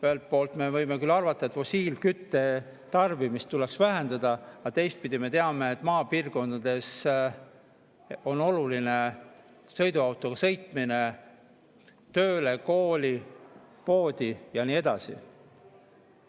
Ühelt poolt me võime küll arvata, et fossiilkütuste tarbimist tuleks vähendada, aga teistpidi me teame, et maapiirkondades on oluline, et saab sõiduautoga sõita tööle, kooli, poodi ja nii edasi.